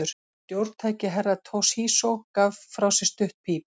Stjórntæki Herra Toshizo gaf frá sér stutt píp.